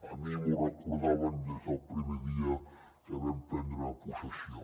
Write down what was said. a mi m’ho recordaven des del primer dia que vam prendre possessió